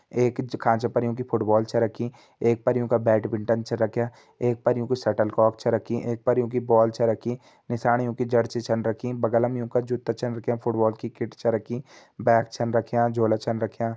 एक खांचा पर योंकी फुटबॉल छ रखीं एक पर योंका बैटमिंटन छन रख्यां एक पर योंकि शटल कॉक छ रखीं एक पर योंकि बॉल छ रखीं नीसाण योंकी जर्सी छन रखीं बगल मा योंका जूता छा रख्यां फुटबॉल की किट छ रखीं बैग छा रख्यां झोला छा रख्यां।